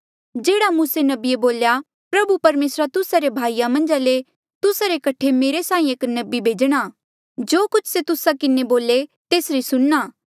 जेह्ड़ा मूसे नबिये बोल्या प्रभु परमेसरा तुस्सा रे भाईया मन्झा ले तुस्सा रे कठे मेरे साहीं एक नबी भेजणा जो कुछ से तुस्सा किन्हें बोले तेसरी सुणना